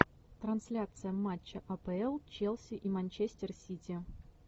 трансляция матча апл челси и манчестер сити